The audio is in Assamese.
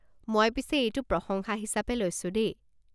মই পিছে এইটো প্ৰশংসা হিচাপে লৈছোঁ দেই।